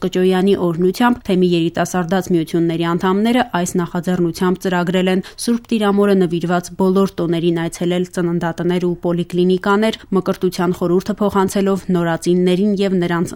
Կճոյանի օրհնությամբ թեմի երիտասարդաց միության անդամներն այս նախաձեռնությամբ ծրագրել են Ս. Տիրամորը նվիրված բոլոր տոներին այցելել ծննդատներ ու պոլիկլինիկաներ՝ Մկրտության խորհուրդը փոխանցելով նորածիններին ու նրանց